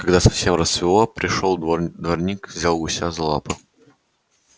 когда совсем рассвело пришёл дворник взял гуся за лапы